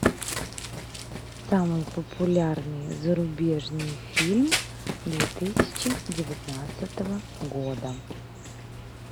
самый популярный зарубежный фильм две тысячи девятнадцатого года